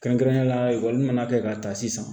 Kɛrɛnkɛrɛnnenya la ekɔli mana kɛ ka ta sisan